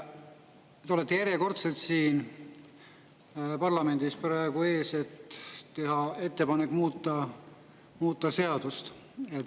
Te olete järjekordselt siin parlamendi ees, et teha ettepanek muuta seadust.